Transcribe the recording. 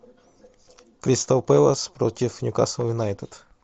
кристал пэлас против ньюкасл юнайтед